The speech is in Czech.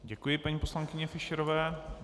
Děkuji paní poslankyni Fischerové.